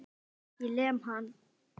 Ég lem hann.